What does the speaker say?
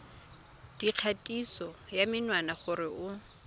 dikgatiso ya menwana gore o